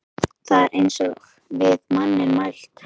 Það er eins og við manninn mælt.